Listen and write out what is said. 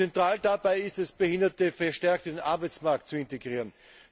Zentral dabei ist es, Behinderte verstärkt in den Arbeitsmarkt zu integrieren.